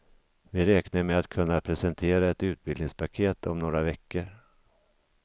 Vi räknar med att kunna presentera ett utbildningspaket om några veckor.